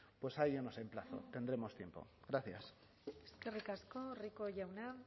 pues a ello nos emplazo tendremos tiempo gracias eskerrik asko rico jauna